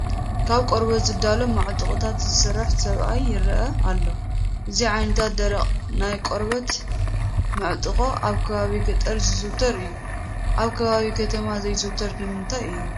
ካብ ቆርበት ዝዳሎ መዕጥማቖታት ዝሰርሕ ሰብኣይ ይርአ ኣሎ፡፡ እዚ ዓይነት ደረቕ ናይ ቆርበት መዕጥቖ ኣብ ከባቢ ገጠር ዝዝውተር እዩ፡፡ ኣብ ከባቢ ከተማ ዘይዝውተር ንምንታይ እዩ?